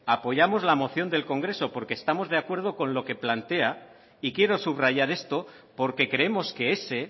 apoyamos la moción del congreso porque estamos de acuerdo con lo q plantea y quiero subrayar esto porque creemos que ese